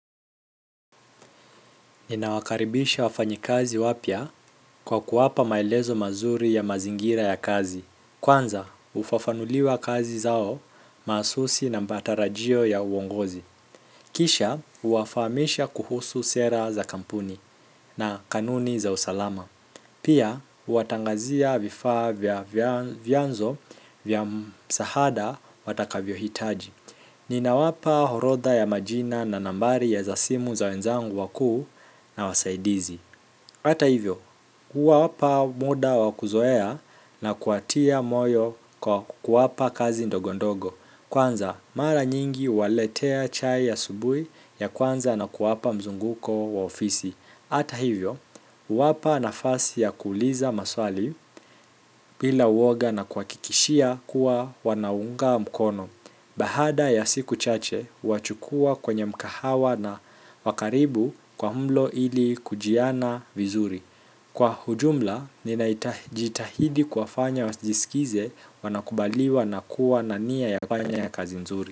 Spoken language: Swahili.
Ninawakaribisha wafanyikazi wapya kwa kuwapa maelezo mazuri ya mazingira ya kazi. Kwanza, hufafanuliwa kazi zao mahususi na matarajio ya uongozi. Kisha, huwafahamisha kuhusu sera za kampuni na kanuni za usalama. Pia, huwatangazia vifaa vya vyanzo vya msaada watakavyohitaji. Ninawapa orodha ya majina na nambari za simu za wenzangu wakuu na wasaidizi hata hivyo, kuwapa muda wa kuzoea na kuwatia moyo kwa kuwapa kazi ndogondogo. Kwanza, mara nyingi huwaletea chai ya asubuhi ya kwanza na kuwapa mzunguko wa ofisi. Hata hivyo, huwapa nafasi ya kuuliza maswali bila woga na kuwahakikishia kuwa wanaungwa mkono baada ya siku chache, huwachukua kwenye mkahawa wa karibu kwa mlo ili kujuana vizuri. Kwa ujumla, ninajitahidi kuwafanya wajisikie wanakubaliwa na kuwa na nia ya kufanya kazi nzuri.